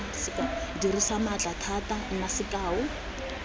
dirisa maatla thata nna sekao